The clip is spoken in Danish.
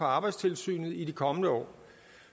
arbejdstilsynet i de kommende år